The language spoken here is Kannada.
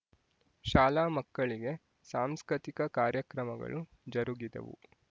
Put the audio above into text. ಶಾಲಾ ಮಕ್ಕಳಿಗೆ ಸಾಂಸ್ಕತಿಕ ಕಾರ್ಯಕ್ರಮಗಳು ಜರುಗಿದವು